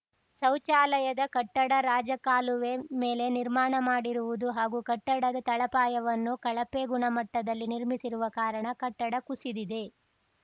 ಶೌಚಾಲಯದ ಕಟ್ಟಡ ರಾಜಕಾಲುವೆ ಮೇಲೆ ನಿರ್ಮಾಣ ಮಾಡಿರುವುದು ಹಾಗೂ ಕಟ್ಟಡದ ತಳಪಾಯವನ್ನು ಕಳಪೆ ಗುಣಮಟ್ಟದಲ್ಲಿ ನಿರ್ಮಿಸಿರುವ ಕಾರಣ ಕಟ್ಟಡ ಕುಸಿದಿದೆ